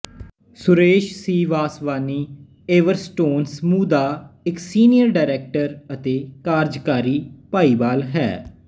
Suresh C Vaswani Everstone ਸਮੂਹ ਦਾ ਇੱਕ ਸੀਨੀਅਰ ਡਾਇਰੈਕਟਰ ਅਤੇ ਕਾਰਜਕਾਰੀ ਭਾਈਵਾਲ ਹੈ